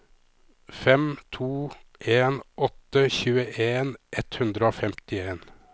fem to en åtte tjueen ett hundre og femtien